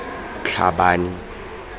tlhabane